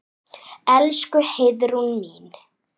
Elsku Heiðrún mín.